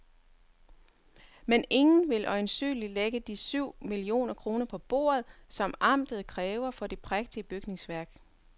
Men ingen vil øjensynligt lægge de syv millioner kroner på bordet, som amtet kræver for det prægtige bygningsværk.